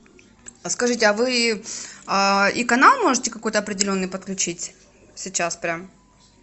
а скажите а вы и канал можете какой то определенный подключить сейчас прям